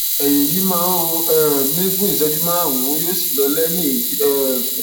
ẹyìn yìí máa ń ro um mí fuún ìṣẹjú márùnún yóò sì lọ lẹyìn èyí um